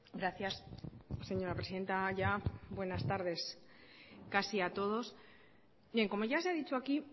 gracias señora presidenta ya buenas tardes casi a todos bien como ya se ha dicho aquí